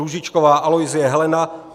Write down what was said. Růžičková Aloisie Helena